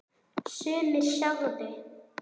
Sumir sögðu: